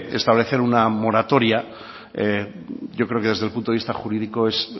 establecer una moratoria yo creo que desde el punto de vista jurídico es